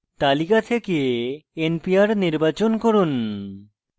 তালিকা থেকে npr নির্বাচন করুন